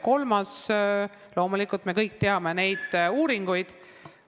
Kolmandaks, loomulikult me kõik teame uuringutulemusi.